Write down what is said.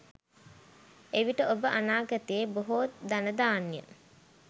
එවිට ඔබ අනාගතයේ බොහෝ ධනධාන්‍ය